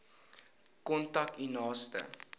kontak u naaste